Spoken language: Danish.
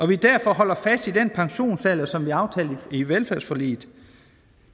vi derfor holder fast i den pensionsalder som vi aftalte i velfærdsforliget